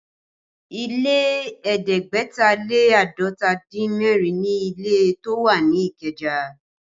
Ilé ẹ̀ẹ́dẹ́gbẹ̀ta lé àádọ́ta dín mẹ́rin ni ilé tó wà ní Ikeja